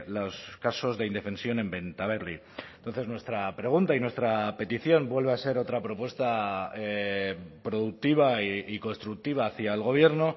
los casos de indefensión en bentaberri entonces nuestra pregunta y nuestra petición vuelve a ser otra propuesta productiva y constructiva hacia el gobierno